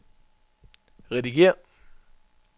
redigér